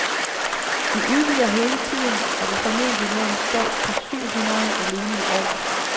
Vi udvider hele tiden og vil formentlig nå en stab på syv hundrede alene i år.